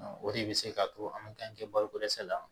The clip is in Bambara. O de bɛ se k'a to an bɛ kɛnbako dɛsɛ la